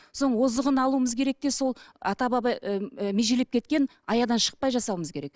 озығын алуымыз керек те сол ата баба ыыы межелеп кеткен аядан шықпай жасауымыз керек